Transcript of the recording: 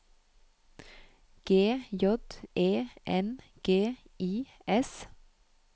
G J E N G I S